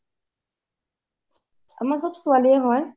আমাৰ চব ছোৱালীয়ে হয়